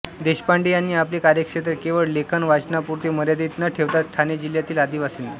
देशपांडे यांनी आपले कार्यक्षेत्र केवळ लेखन वाचनापुरते मर्यादित न ठेवता ठाणे जिल्ह्यातील आदिवासींना